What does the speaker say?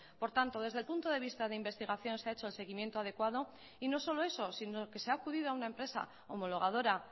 por tanto desde el punto de vista de investigación se ha hecho el seguimiento adecuado y no solo eso sino que se ha acudido a una empresa homologadora